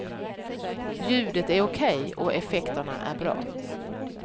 Ljudet är okej och effekterna är bra.